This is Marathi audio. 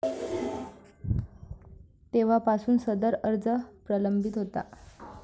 तेव्हापासून सदर अर्ज प्रलंबित होता.